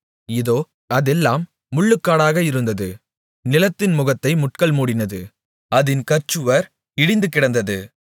இதோ அதெல்லாம் முள்ளுக்காடாக இருந்தது நிலத்தின் முகத்தை முட்கள் மூடினது அதின் கற்சுவர் இடிந்துகிடந்தது